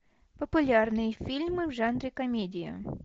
популярные фильмы в жанре комедия